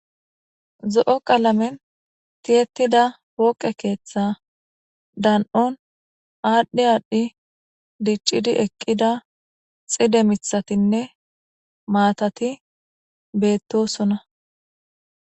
zo7o qalamen tiyettida pooqe keeththa dan7on aadhdhi aadhdhi diccidi eqqida xide mithatinne maatati beettosona